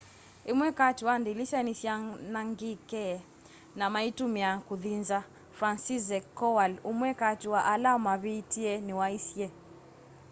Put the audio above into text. ĩmwe katĩ wa ndĩlĩsya nĩsyaanangĩkĩe na maĩtũmĩa kũthĩ nza franciszek kowal ũmwe katĩ wa ala mavĩtĩe nĩwaisye